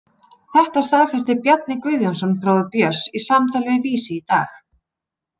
Þetta staðfesti Bjarni Guðjónsson, bróðir Björns, í samtali við Vísi í dag.